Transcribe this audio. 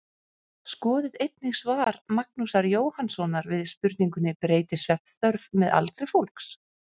Skoðið einnig svar Magnúsar Jóhannssonar við spurningunni Breytist svefnþörf með aldri fólks?